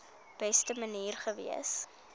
beste manier gewees